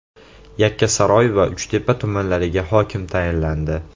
Yakkasaroy va Uchtepa tumanlariga hokim tayinlandi.